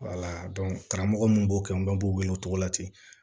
karamɔgɔ mun b'o kɛ u bɛɛ b'u wele o cogo la ten